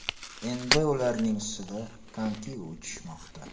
Endi ularning ustida konki uchishmoqda.